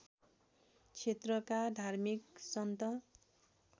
क्षेत्रका धार्मिक सन्त